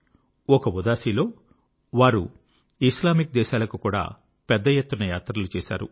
ఒక ఉదాసీ లో వారు ఇస్లామిక్ దేశాలకు కూడా పెద్ద ఎత్తున యాత్రలు చేశారు